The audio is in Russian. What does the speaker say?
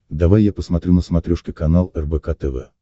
давай я посмотрю на смотрешке канал рбк тв